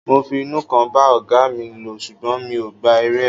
Mo fi inú kan bá ọ̀gáa mi lò ṣùgbọ́n mi ò gba èrè ẹ̀.